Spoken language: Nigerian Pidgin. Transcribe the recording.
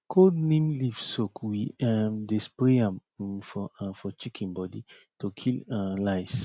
cold neem leaf soak we um dey spray am um for um for chicken body to kill um lice